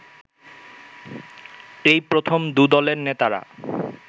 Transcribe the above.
এই প্রথম দু দলের নেতারা